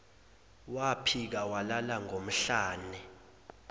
waphika walala ngomhlane